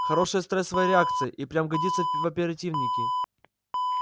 хорошая стрессовая реакция и впрямь годится в оперативники